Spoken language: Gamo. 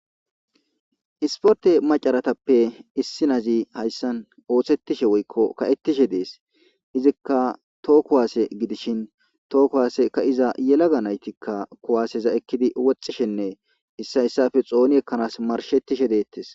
Issipote macarazapp issinazi oosettishshe woykko ka'etishe dees izikka toho kuwase gidishin toho kuwase ka'iza yelaga nayttikka kuwseza eekiddi wothishshenne issa issippe woththi eekanas maarishetishe de'ettes.